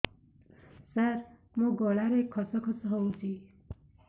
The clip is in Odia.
ସାର ମୋ ଗଳାରେ ଖସ ଖସ ହଉଚି